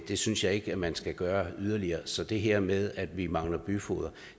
det synes jeg ikke man skal gøre yderligere så det her med at vi mangler byfogeder